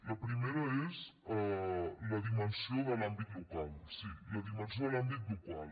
la primera és la dimensió de l’àmbit local sí la dimensió de l’àmbit local